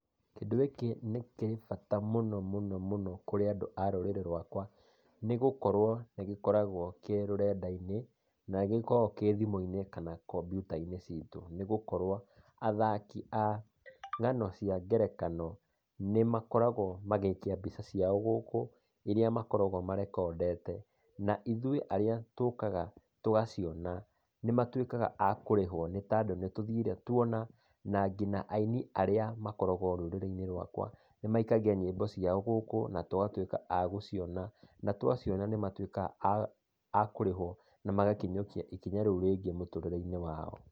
Kĩndũ gĩkĩ nĩkĩrĩ bata mũno mũno mũno kũrĩ andũ a rũrĩrĩ-inĩ rũakwa, nĩ gũkorwo nĩ gĩkoragwo kĩ rũrenda-inĩ. Nĩ gĩkoragwo thimũ-inĩ, ona kampyuta-inĩ citũ. Nĩ gũkorwo, athaki a ngano cia ngerekano, nĩ makoragwo magĩikia mbica ciao gũkũ iria makoragwo marekondete. Naithuĩ arĩa tũkaga tũgaciona, magatuĩka akũrĩhwo nĩ tondũ nĩ tũthire tuona. Na nginya aini arĩa makoragwo rũrĩrĩ-inĩ rwakwa nĩmaikagia nyĩmbo ciao na tũgatuĩka agũciona. Na twaciona nĩ matuĩkaga a kũrĩhwo na magakinyũkia ikinya rĩũ rĩngĩ mũtũrĩre-inĩ wao.